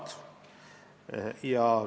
Aitäh!